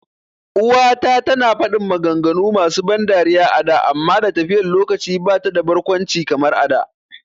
uwa ta tana fadin maganganu masu ban dariya a da amma da tafiyan lokaci bata da barkwanci kamar a da